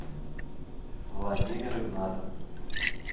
владимир игнатов